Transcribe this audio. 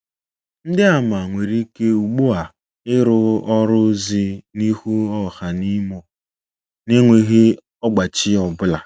Ndị àmà nwere ike ugbu a ịrụ ọrụ ozi n’ihu ọha n’Imo na enweghị ọgbachi ọ bụla